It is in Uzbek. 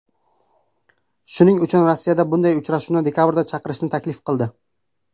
Shuning uchun Rossiya bunday uchrashuvni dekabrda chaqirishni taklif qildi.